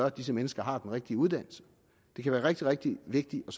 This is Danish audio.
at disse mennesker har den rigtige uddannelse det kan være rigtig rigtig vigtigt at